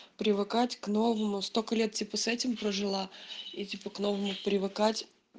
привыкать к новому столько лет типа с этим прожила и типа к новому привыкать